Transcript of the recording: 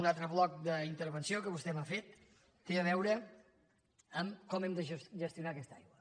un altre bloc d’intervenció que vostè m’ha fet té a veure amb com hem de gestionar aquesta aigua